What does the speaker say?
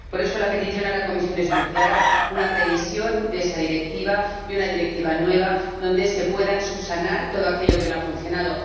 Por eso, la petición a la Comisión es muy clara una revisión de esa Directiva y una directiva nueva donde se pueda subsanar todo aquello que no ha funcionado.